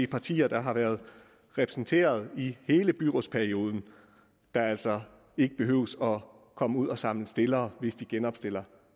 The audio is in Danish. partier der har været repræsenteret i hele byrådsperioden altså ikke behøver at komme ud at samle stillere hvis de genopstiller